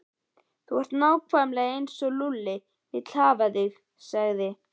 Þú ert nákvæmlega eins og Lúlli vill hafa þig sagði